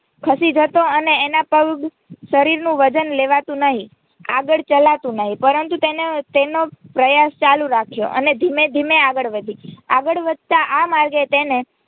ખસી જતો અને એના પર શરીરનું વજન લેવાતું નહીં આગળ ચલાતુ નહીં પરંતુ તેણે તેનો પ્રયાસ ચાલુ રાખ્યો અને ધીમે ધીમે આગળ વધી આગળ વધતા આ માર્ગે તેણે